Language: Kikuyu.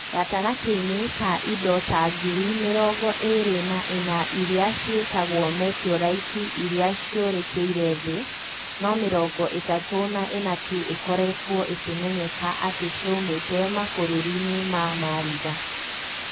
Gatagatĩ-inĩ ka indo ta ngiri mĩrongo ĩĩrĩ na ĩna iria ciĩtagwo meteorite iria ciũrĩkĩire Thĩ, no mĩrongo ĩtatũ na ĩna tu ikoretwo ikĩmenyeka atĩ cioimĩte mabũrũri-inĩ ma Maritha.